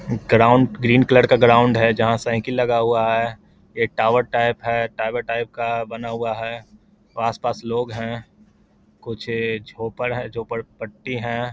Ground green colour का ground है जहाँ साइकिल लगा हुआ है ये टावर टाइप है टावर टाइप का बना हुआ है पास-पास लोग हैं कुछ झोंपड़ हैं झोंपड़-पट्टी हैं।